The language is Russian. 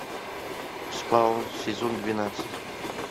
спаун сезон двенадцать